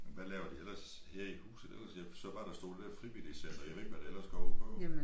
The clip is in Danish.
Hvad laver de ellers her i huset ellers jeg så bare der stod det der frivilligcenter jeg ved ikke hvad det ellers går ud på